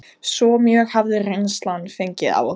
Svo mjög hafði reynslan fengið á okkur.